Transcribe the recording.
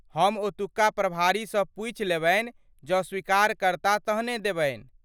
हम ओतुका प्रभारी सँ पूछि लेबन्हि ,जँ स्वीकार करता तहने देबन्हि।